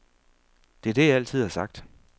Det er det, jeg altid har sagt.